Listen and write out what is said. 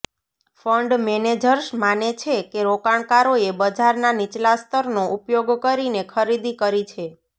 fund managers માને છે કે રોકાણકારોએ બજારના નીચલા સ્તરનો ઉપયોગ કરીને ખરીદી કરી છે